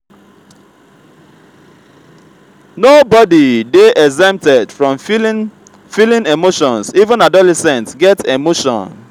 no body dey exempted from feeling feeling emotions even adolescent get emotion